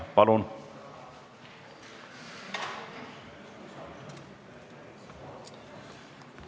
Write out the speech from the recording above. Palun!